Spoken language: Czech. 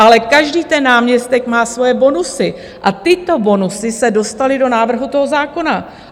Ale každý ten náměstek má svoje bonusy a tyto bonusy se dostaly do návrhu toho zákona.